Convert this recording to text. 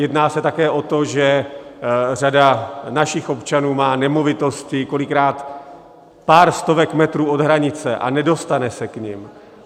Jedná se také o to, že řada našich občanů má nemovitosti kolikrát pár stovek metrů od hranice a nedostane se k nim.